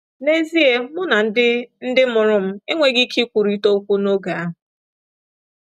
N’ezie mụ na ndị ndị mụrụ m enweghị ike ikwurịta okwu n’oge ahụ.